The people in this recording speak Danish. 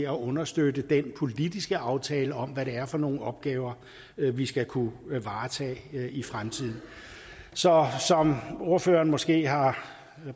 understøtte den politiske aftale om hvad det er for nogle opgaver vi skal kunne varetage i fremtiden så som ordføreren måske har